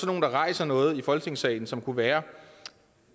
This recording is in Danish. nogen der rejser noget i folketingssalen som kunne være